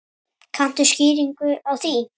Kanntu skýringu á því?